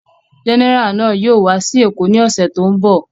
Gẹ́nẹrà náà yóò wá sí Èkó ní ọ̀sẹ̀ tó ń bọ̀.